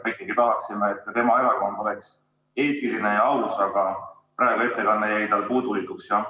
Ikkagi me tahaksime, et ka tema erakond oleks eetiline ja aus, aga praegu jäi ettekanne puudulikuks.